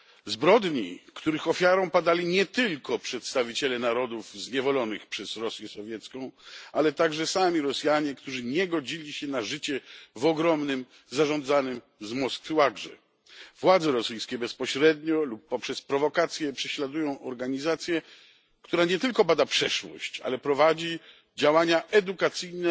Zbrodni, których ofiarą padali nie tylko przedstawiciele narodów zniewolonych przez Rosję Sowiecką, ale także sami Rosjanie, którzy nie godzili się na życie w ogromnym, zarządzanym z Moskwy łagrze. Władze rosyjskie bezpośrednio lub poprzez prowokację prześladują organizację, która nie tylko bada przeszłość, ale prowadzi działania edukacyjne,